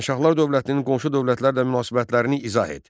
Şirvanşahlar dövlətinin qonşu dövlətlərlə münasibətlərini izah et.